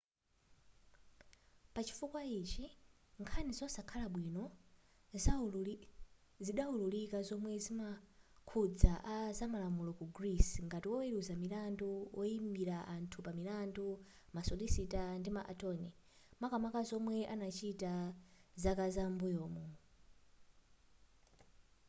pachifukwa ichi nkhani zosakhala bwino zidaululika zomwe zimakhudza a zamalamulo ku greece ngati woweluza milandu woyimila anthu pamilandu ma solicitor ndi ma attorney makamaka zomwe anachita zaka zam'mbuyomu